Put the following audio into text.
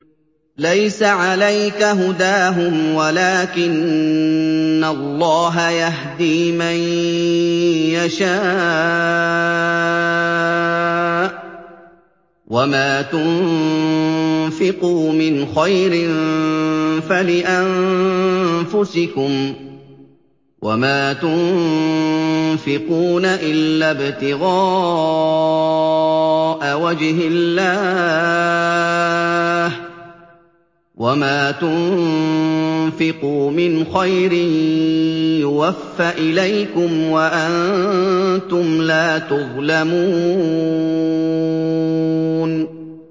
۞ لَّيْسَ عَلَيْكَ هُدَاهُمْ وَلَٰكِنَّ اللَّهَ يَهْدِي مَن يَشَاءُ ۗ وَمَا تُنفِقُوا مِنْ خَيْرٍ فَلِأَنفُسِكُمْ ۚ وَمَا تُنفِقُونَ إِلَّا ابْتِغَاءَ وَجْهِ اللَّهِ ۚ وَمَا تُنفِقُوا مِنْ خَيْرٍ يُوَفَّ إِلَيْكُمْ وَأَنتُمْ لَا تُظْلَمُونَ